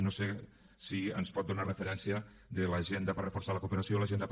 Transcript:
no sé si ens pot donar referència de l’agenda per reforçar la cooperació l’agenda per